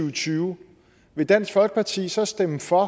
og tyve vil dansk folkeparti så stemme for